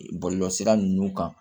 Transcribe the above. Bɔlɔlɔsira ninnu kan